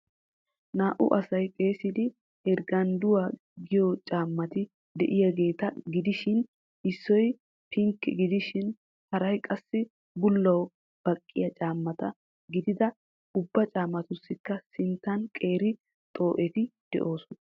Naa'u asay xeessidi ergendduwa giyo caammati de'iyaageta gidishin issoy pinke gidishin haray qassi bullawu baqqiya cammata gidid ubba caammatussikka sinttan qeeri xoo'etti doosona.